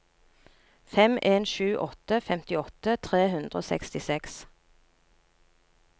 fem en sju åtte femtiåtte tre hundre og sekstiseks